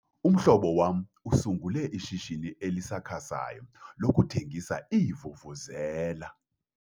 Umhlobo wam usungule ishishini elisakhasayo lokuthengisa iivuvuzela.